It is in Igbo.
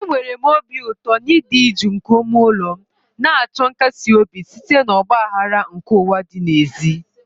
Enwere m obi ụtọ n'ịdị jụụ nke ime ụlọ m, na-achọ nkasi obi site na ọgba aghara nke ụwa dị n'èzí.